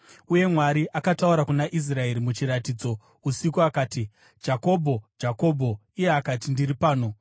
Uye Mwari akataura kuna Israeri muchiratidzo usiku akati, “Jakobho! Jakobho!” Iye akati, “Ndiri pano.”